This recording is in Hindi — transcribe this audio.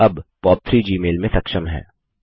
अब पॉप3 जीमेल में सक्षम है